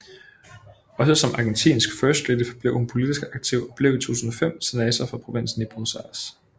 Også som argentinsk first lady forblev hun politisk aktiv og blev i 2005 senator for provinsen Buenos Aires